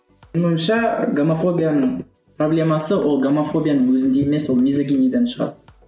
менің ойымша гомофобияның проблемасы ол гомофобияның өзінде емес ол лизогениден шығады